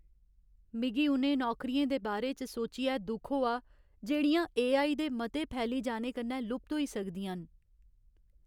मिगी उ'नें नौकरियें दे बारे च सोचियै दुख होआ जेह्ड़ियां एआई दे मते फैली जाने कन्नै लुप्त होई सकदियां न।